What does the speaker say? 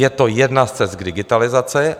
Je to jedna z cest k digitalizaci.